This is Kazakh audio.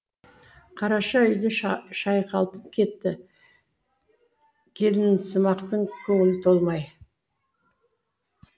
қараша үйді шайқалтып кетті келінсымақтың көңілі толмай